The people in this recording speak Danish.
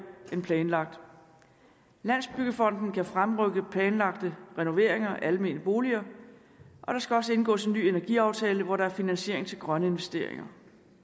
end planlagt landsbyggefonden fremrykker planlagte renoveringer af almene boliger og der skal også indgås en ny energiaftale hvor der er finansiering til grønne investeringer